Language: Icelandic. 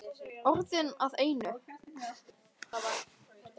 Orðin að einu.